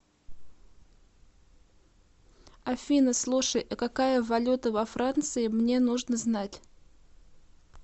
афина слушай а какая валюта во франции мне нужно знать